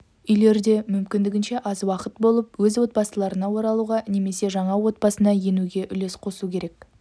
үйлерде мүмкіндігінше аз уақыт болып өз отбасыларына оралуға немесе жаңа отбасына енуге үлес қосу керек